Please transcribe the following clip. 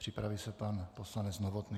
Připraví se pan poslanec Novotný.